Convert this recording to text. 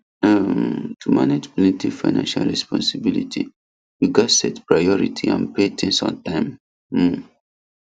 um to manage plenty financial responsibility you gats set priority and pay things on time um